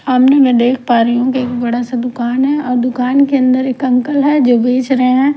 सामने में देख पा रही हूं कि बड़ा सा दुकान है और दुकान के अंदर एक अंकल है जो बेच रहे हैं।